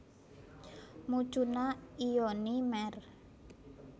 Mucuna lyonii Merr